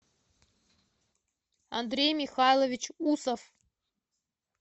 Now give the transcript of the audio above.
андрей михайлович усов